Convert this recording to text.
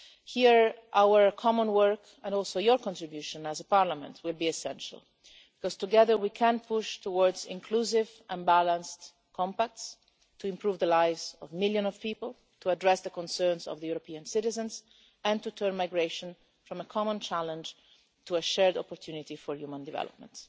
Here our common work and also your contribution as a Parliament will be essential because together we can push towards inclusive and balanced Compacts to improve the lives of millions of people, to address the concerns of European citizens and to turn migration from a common challenge into a shared opportunity for human development.